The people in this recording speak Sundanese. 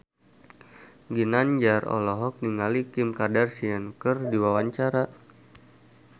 Ginanjar olohok ningali Kim Kardashian keur diwawancara